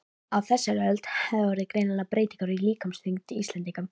Á þessari öld hafa orðið greinilegar breytingar á líkamsþyngd Íslendinga.